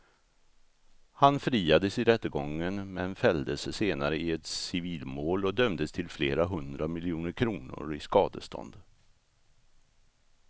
Han friades i rättegången men fälldes senare i ett civilmål och dömdes till flera hundra miljoner kronor i skadestånd.